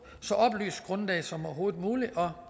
så oplyst grundlag som overhovedet muligt